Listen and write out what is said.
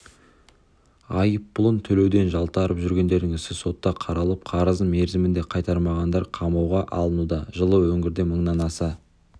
айыппұлын төлеуден жалтарып жүргендердің ісі сотта қаралып қарызын мерзімінде қайтармағандар қамауға алынуда жылы өңірде мыңнан аса